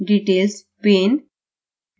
details pane